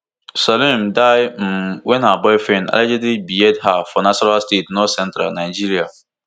salome die um wen her boyfriend allegedly behead her for nasarawa state northcentral nigeria